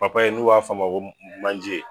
Papaye n'u b'a f'a ma ko manje